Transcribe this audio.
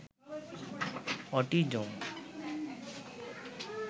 autism